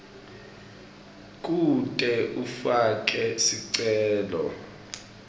kute ufake sicelo